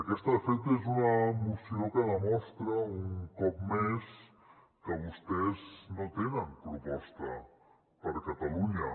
aquesta de fet és una moció que demostra un cop més que vostès no tenen proposta per a catalunya